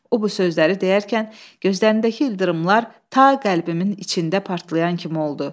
O bu sözləri deyərkən gözlərindəki ildırımlar ta qəlbimin içində partlayan kimi oldu.